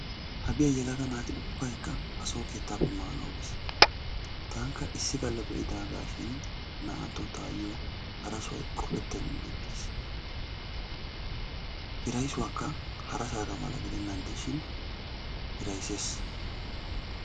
Hagee yelaga naati ubbaykka ha so keettappe manaw biis. tanikka issi galla be'idaagashin naa'anttuwa tayo hara sohoy qopetennan ixxiis. hirayssuwaakka hara sohuwaaga mala gidennan de'ishin hirayssees.